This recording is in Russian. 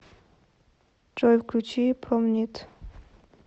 джой включи промнит